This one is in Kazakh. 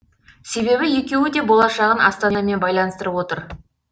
себебі екеуі де болашағын астанамен байланыстырып отыр